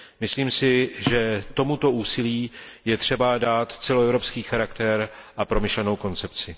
Myslím si, že tomuto úsilí je třeba dát celoevropský charakter a promyšlenou koncepci.